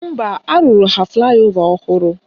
Mba, arụrụ ha flaị ova ọhụrụ